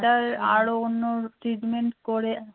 আরো অন্য treatment করে